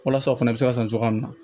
Walasa o fana bɛ se ka san cogoya min na